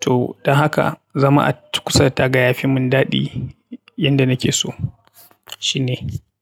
To don haka zama a kusa da taga yafi mun dadi. Yanda nake so shine.